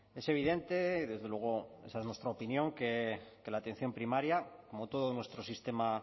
es evidente desde luego esa es nuestra opinión que la atención primaria como todo nuestro sistema